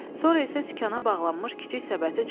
Sonra isə sükana bağlanmış kiçik səbəti çıxardı.